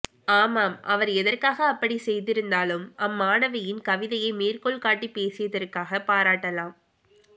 ஆமாம் அவர் எதற்காக அப்ப்டிச் செய்திருந்தாலும் அம்மாணவியின் கவிதையை மேற்கோள் காட்டிப் பேசியதற்காகப் பாராட்டலாம்